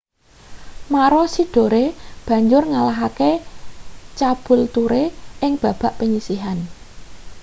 maroochydore banjur ngalahake caboolture ing babak panyisihan